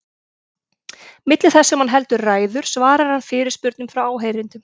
Milli þess sem hann heldur ræður svarar hann fyrirspurnum frá áheyrendum.